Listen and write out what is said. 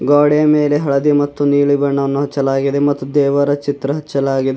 ಗೋಡೆ ಮೇಲೆ ಹಳದಿ ಮತ್ತು ನೀಲಿ ಬಣ್ಣವನ್ನು ಹಚ್ಚಲಾಗಿದೆ ಮತ್ತು ದೇವರ ಚಿತ್ರ ಹಚ್ಚಲಾಗಿದೆ.